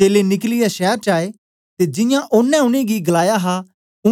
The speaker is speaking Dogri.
चेलें निकलियै शैर च आए ते जियां ओनें उनेंगी गलाया हा